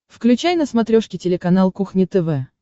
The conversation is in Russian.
включай на смотрешке телеканал кухня тв